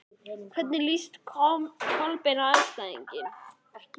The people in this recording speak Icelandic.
Hvernig líst Kolbeini á þá andstæðinga?